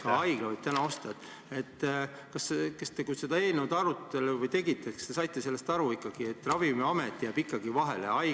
Ka haigla võib täna osta, aga kui seda eelnõu arutasite, kas te saite ikka aru, et Ravimiamet on siiski vahel?